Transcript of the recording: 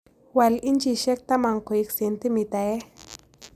Wal inchisyek taman koik sentimitaisyek